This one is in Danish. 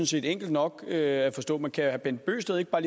set enkelt nok at forstå men kan herre bent bøgsted ikke bare